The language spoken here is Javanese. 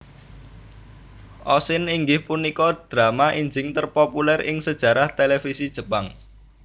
Oshin inggih punika drama injing terpopuler ing sejarah televisi Jepang